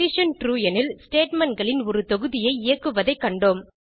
true எனில் statementகளின் ஒரு தொகுதியை இயக்குவதைக் கண்டோம்